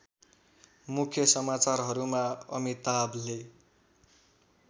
मुख्य समाचारहरूमा अमिताभले